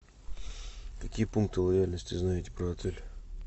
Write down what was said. какие пункты лояльности знаете про отель